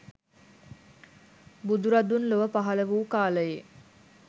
බුදුරදුන් ලොව පහළ වූ කාලයේ